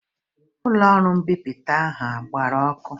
Ụlọọrụ mbipụta ahụ ọ gbara ọkụ?